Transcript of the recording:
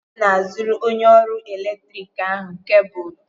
Ọbụm na-azụrụ onye ọrụ eletrik ahụ kebụlụ.